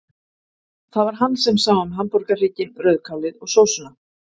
Það var hann sem sá um hamborgarhrygginn, rauðkálið og sósuna.